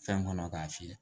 Fɛn kɔnɔ k'a fiyɛ